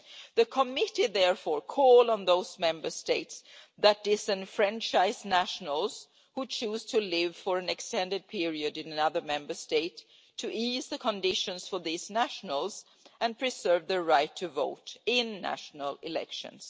The committee therefore calls on those Member States that disenfranchise nationals who choose to live for an extended period in another Member State to ease the conditions for these nationals and preserve their right to vote in national elections.